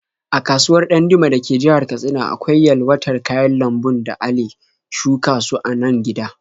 A kasuwar Ɗandume da ke jihar Katsina akwai yalwatar kayan lambun da ale shuka su a nan gida.